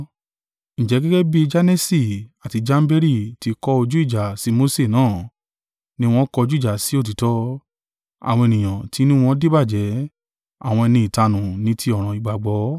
Ǹjẹ́ gẹ́gẹ́ bí Janesi àti Jamberi ti kọ ojú ìjà sí Mose náà ni wọ́n kọjú ìjà sí òtítọ́: àwọn ènìyàn tí inú wọn díbàjẹ́, àwọn ẹni ìtanù ní ti ọ̀ràn ìgbàgbọ́.